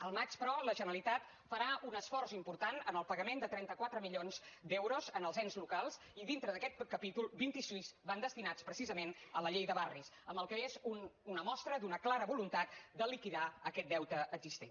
al maig però la generalitat farà un esforç important en el pagament de trenta quatre milions d’euros als ens locals i dintre d’aquest capítol vint sis van destinats precisament a la llei de barris amb el que és una mostra d’una clara voluntat de liquidar aquest deute existent